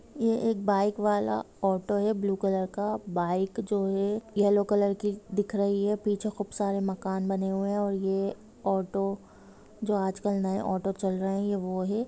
ये एक बाइक वाला ऑटो है ब्लू कॉलर का बाइक जो है येलो की दिख रही हैं पीछे खूब सारे मकान बने है और ये ऑटो जो आजकल नए ऑटो चल रहे वो है।